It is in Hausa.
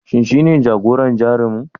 Shin shine jagoran Jarumin